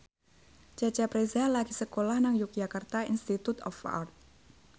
Cecep Reza lagi sekolah nang Yogyakarta Institute of Art